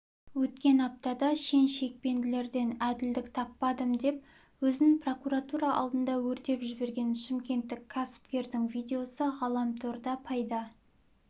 өткен аптада шен-шекпенділерден әділдік таппадым деп өзін прокуратура алдында өртеп жіберген шымкенттік кәсіпкердің видеосы ғаламторда пайда